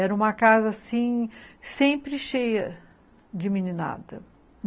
Era uma casa, assim, sempre cheia de meninada.